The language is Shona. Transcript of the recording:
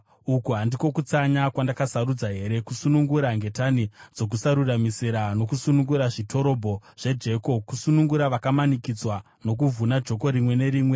“Uku handiko kutsanya kwandakasarudza here: Kusunungura ngetani dzokusaruramisira nokusunungura zvitirobho zvejoko, kusunungura vakamanikidzwa nokuvhuna joko rimwe nerimwe?